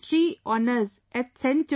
History Honours at St